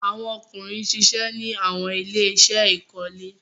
Awọn ọkunrin ṣiṣẹ ni awọn ile-iṣẹ ikole